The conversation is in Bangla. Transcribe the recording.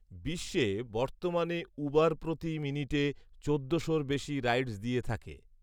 বিশ্বে বর্তমানে ঊবার প্রতি মিনিটে চোদ্দশোর বেশি রাইডস দিয়ে থাকে